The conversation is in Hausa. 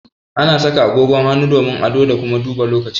Ana saka agogon hannu domin ado da kuma duba lokaci